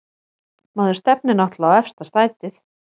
Maður stefnir náttúrlega á efsta sætið